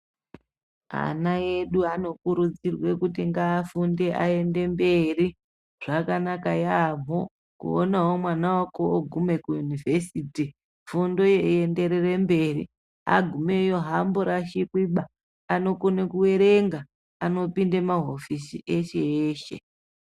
Ana edu anokurudzirwa kuti ngaafunde aende mberi zvakanakawo yambo kuone mwana wako ogume kuyunivhesiti fundo yeiienderere mberi agumeyo haamborashikwi baa anokone kuerenga anopinde mahofisi eshe eshe.